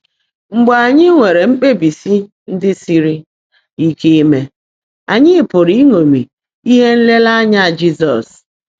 Mgbe ányị́ nwèrè mkpèbísi ndị́ sírí íke íme, ányị́ pụ́rụ́ ị́nọ́mị́ íhe nlèèréényá Jị́zọ́s.